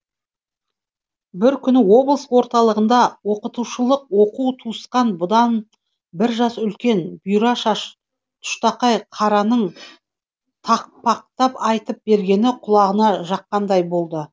бір күні облыс орталығында оқытушылық оқу тауысқан бұдан бір жас үлкен бұйра шаш тұштақай қараның тақпақтап айтып бергені құлағына жаққандай болды